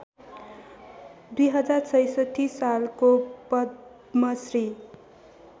२०६६ सालको पद्मश्री